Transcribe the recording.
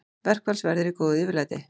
Verkfallsverðir í góðu yfirlæti